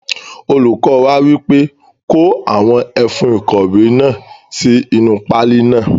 Olùkọ wa wípé; Kó àwọn ẹfun ìkọ̀wé náà sí inú páálí náà.